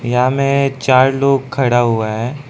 यहां में चार लोग खड़ा हुआ है।